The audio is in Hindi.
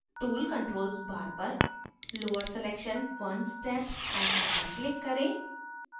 tool controls bar पर lower selection one step icon पर click करें